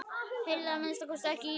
Heyri að minnsta kosti ekki í honum.